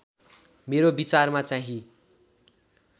मेरो विचारमा चाहिँ